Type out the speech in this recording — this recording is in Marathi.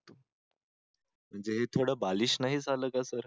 म्हणजे हे थोडं बालिश नाही झालं का सर